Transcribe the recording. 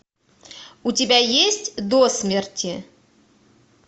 у тебя есть досмерти